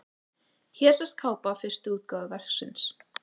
Hér sést kápa fyrstu útgáfu verksins.